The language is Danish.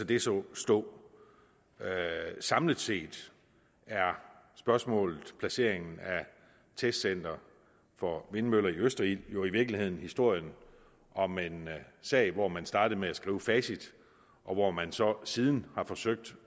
det så stå samlet set er spørgsmålet placeringen af et testcenter for vindmøller i østerild jo i virkeligheden historien om en sag hvor man startede med at skrive facit og hvor man så siden har forsøgt